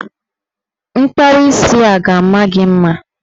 Mkpawa isi a ga-ama gị mma.